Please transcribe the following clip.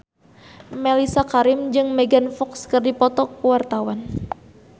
Mellisa Karim jeung Megan Fox keur dipoto ku wartawan